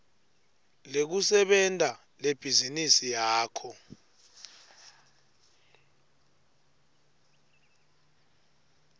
lekusebenta lebhizinisi yakho